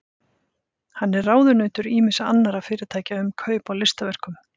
Hann er ráðunautur ýmissa annarra fyrirtækja um kaup á listaverkum.